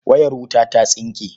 Wayar wuta ta tsinke.